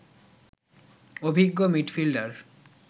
অভিজ্ঞ মিডফিল্ডার